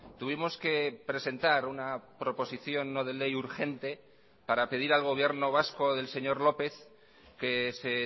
tuvimos que presentar una proposición no de ley urgente para pedir al gobierno vasco del señor lópez que se